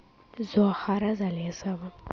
зоахара залесова